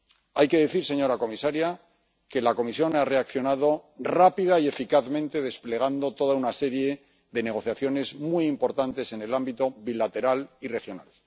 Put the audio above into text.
Hay que decir, señora comisaria, que la Comisión ha reaccionado rápida y eficazmente, desplegando toda una serie de negociaciones muy importantes en el ámbito bilateral y regional.